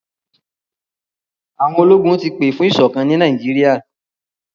Àwọn ológun ti pè fún ìṣọ̀kán ni Nàìjíríà.